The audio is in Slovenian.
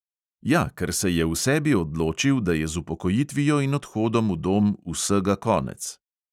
Ja, ker se je v sebi odločil, da je z upokojitvijo in odhodom v dom vsega konec.